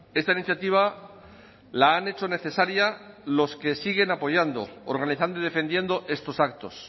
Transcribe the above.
esta iniciativa la han hecho necesaria los que siguen apoyando organizando y defendiendo estos actos